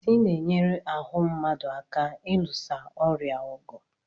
Vitamin C na-enyere ahụ mmadụ aka ilusa ọrịa ọgụ